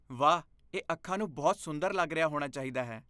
ਵਾਹ! ਇਹ ਅੱਖਾਂ ਨੂੰ ਬਹੁਤ ਸੁੰਦਰ ਲੱਗ ਰਿਹਾ ਹੋਣਾ ਚਾਹੀਦਾ ਹੈ।